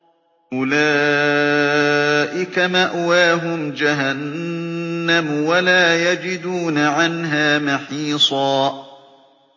أُولَٰئِكَ مَأْوَاهُمْ جَهَنَّمُ وَلَا يَجِدُونَ عَنْهَا مَحِيصًا